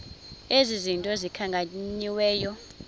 ezi zinto zikhankanyiweyo